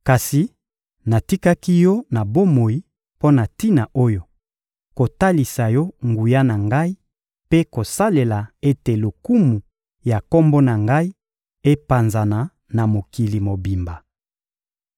Kasi natikaki yo na bomoi mpo na tina oyo: kotalisa yo nguya na Ngai mpe kosala ete lokumu ya Kombo na Ngai epanzana na mokili mobimba.